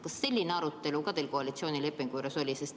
Kas selline arutelu teil koalitsioonilepingu juures oli?